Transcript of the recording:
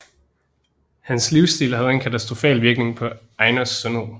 Hans livsstil havde en katastrofal virkning på Ainos sundhed